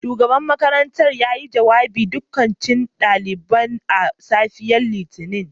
Shugaban makarantar yayi jawabi ga daukacin daliban a safiyar Litinin